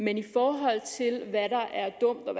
men i forhold til hvad der er dumt og